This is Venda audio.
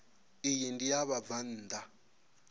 iyi ndi ya vhabvann ḓa